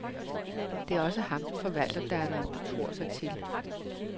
Det er også ham, forvalterdatteren betror sig til.